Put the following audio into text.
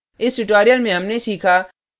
इस tutorial में हमने सीखा